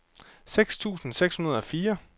seks tusind seks hundrede og fire